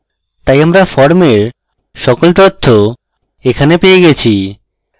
তাই আমরা ফর্মের সকল তথ্য এখানে পেয়ে গেছি